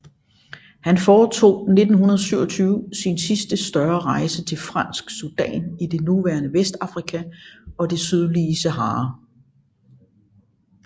Han foretog 1927 sin sidste større rejse til Fransk Sudan i det nuværende Vestafrika og det sydlige Sahara